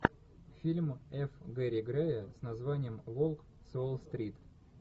фильм ф гэри грея с названием волк с уолл стрит